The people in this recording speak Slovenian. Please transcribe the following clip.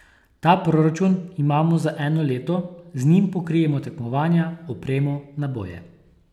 Ta proračun imamo za eno leto, z njim pokrijemo tekmovanja, opremo, naboje.